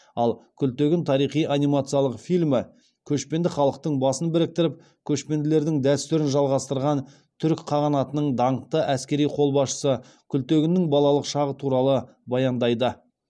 ал күлтегін тарихи анимациялық фильмі көшпенді халықтың басын біріктіріп көшпенділердің дәстүрін жалғастырған түрік қағанатының даңқты әскери қолбасшысы күлтегіннің балалық шағы туралы баяндайды